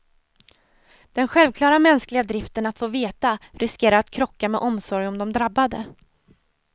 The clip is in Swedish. Den självklara mänskliga driften att få veta riskerar att krocka med omsorg om de drabbade.